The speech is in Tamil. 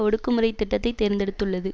ஒடுக்குமுறை திட்டத்தைத் தேர்ந்தெடுத்துள்ளது